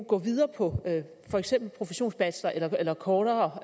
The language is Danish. gå videre på for eksempel professionsbachelor eller kortere